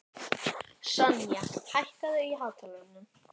Sonja, hækkaðu í hátalaranum.